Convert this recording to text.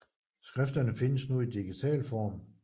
Skrifterne findes nu i digital form